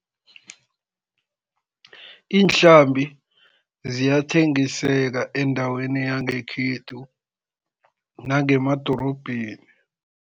Iinhlambi ziyathengiseka endaweni yangekhethu, nangemadorobheni.